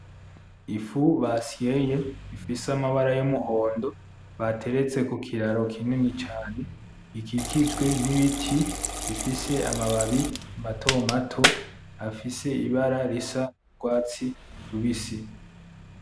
Ifu basyeye ifise amabara y'umuhondo bateretse kukiraro kinini cane. Iki kijwe ni biti bifise amababi mato mato, afise ibara risa rwatsi rubisi.